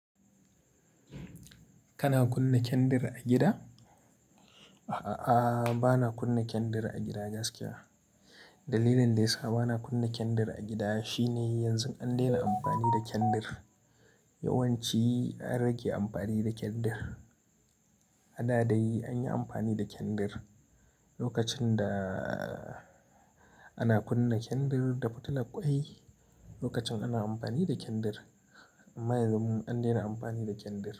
Kana kunna kyandir a gida? A'a, ba na kunna kyandir a gida gaskiya. Dalilin da ya sa ba na kunna kyandir a gida shine yanzu an daina amfani da kyandir. Yawanci an rage amfani da kyandir. A da dai anyi amfani da kyandir. Lokacin da ana kunna kyandir da fitilar ƙwai, lokacin ana amfani da kyandir. Amma yanzu mun daina amfani da kyandir.